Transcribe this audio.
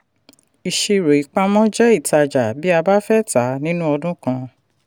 ìṣirò ìpamọ́ jẹ́ ìtájà bí a bá fẹ́ ta nínú ọdún kan.